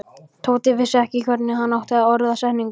Tóti vissi ekki hvernig hann átti að orða setninguna.